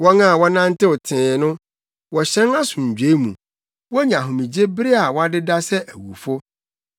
Wɔn a wɔnantew tee no wɔhyɛn asomdwoe mu; wonya ahomegye bere a wɔadeda sɛ awufo.